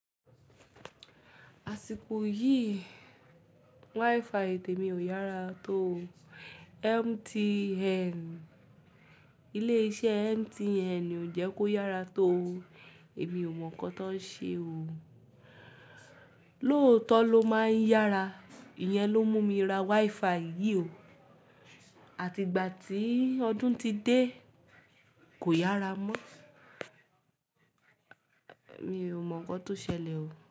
Àsìkò yìí, WiFi tèmi ò yára tó. MTN, ilé iṣẹ́ MTN ò jẹ́ kó yára tó. Èmi ò mọ̀ nǹkan tó ń ṣe o. Lóòótọ́ ló máa ń yára. Ìyẹn ló mú mi ra WiFi yìí o. Àti ìgbà tí ọdún ti dé kò yára mọ́. Èmi ò mọ̀ nǹkan tó ṣẹlẹ̀ o.